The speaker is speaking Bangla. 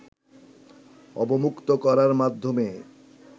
অবমুক্ত করার মাধ্যমে